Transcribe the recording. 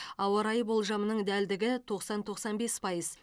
ауа райы болжамының дәлдігі тоқсан тоқсан бес пайыз